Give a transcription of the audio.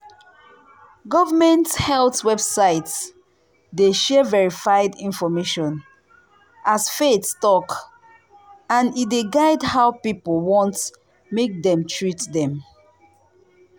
government health website dey share verified information as faith talk and e dey guide how people want make dem treat dem.